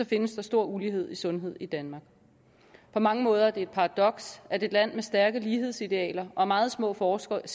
findes der stor ulighed i sundhed i danmark på mange måder er det et paradoks at et land med stærke lighedsidealer og meget små forskelle